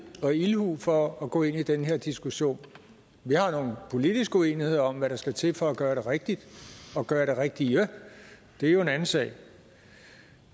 og ildhu for at gå ind i den her diskussion vi har nogle politiske uenigheder om hvad der skal til for at gøre det rigtigt og gøre det rigtige det er en anden sag